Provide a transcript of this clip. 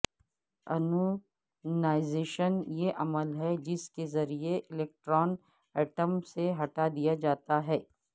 anonymisation یہ عمل ہے جس کے ذریعہ الیکٹران ایٹم سے ہٹا دیا جاتا ہے